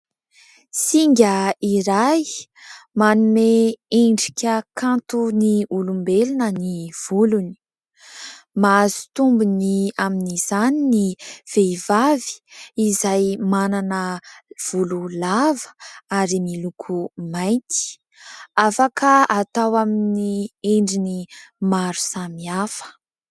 Singa iray manome endrika kanto ny olombelona ny volony. Mahazo tombony amin'izany ny vehivavy izay manana volo lava ary miloko mainty, afaka atao amin'ny endriny maro samihafa.